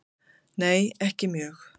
Nei ekki mjög.